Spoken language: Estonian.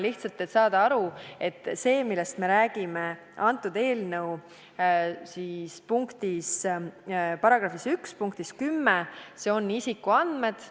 Lihtsalt selleks, et saada aru, et need andmed, millest räägitakse eelnõu § 1 punktis 10, on isikuandmed.